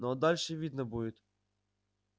ну а дальше видно будет